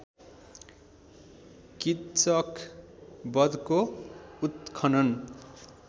किच्चक वधको उत्खनन